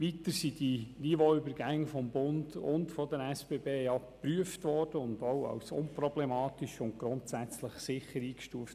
Zudem hat die Prüfung des Bundes und der SBB ergeben, dass die Niveauübergänge unproblematisch und grundsätzlich sicher sind.